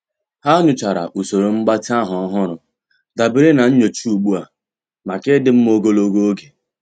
Há nyòchàrà usoro mgbatị ahụ́ ọ́hụ́rụ́ dabere na nyocha ugbu a màkà ịdị mma ogologo oge.